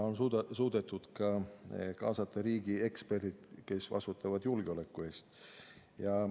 On suudetud kaasata ka riigi eksperdid, kes vastutavad julgeoleku eest.